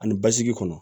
Ani basigi kɔnɔ